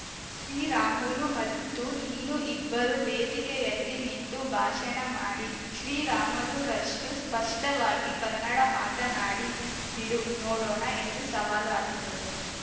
ಶ್ರೀರಾಮುಲು ಮತ್ತು ನೀನು ಇಬ್ಬರೂ ವೇದಿಕೆಯಲ್ಲಿ ನಿಂತು ಭಾಷಣ ಮಾಡಿ ಶ್ರೀರಾಮುಲು ರಷ್ಟು ಸ್ಪಷ್ಟವಾಗಿ ಕನ್ನಡ ಮಾತನಾಡಿ ಬಿಡು ನೋಡೋಣ ಎಂದು ಸವಾಲು ಹಾಕಿದರು